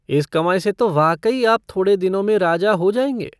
इस कमाई से तो वाकई आप थोड़े दिनों में राजा हो जाएंगे।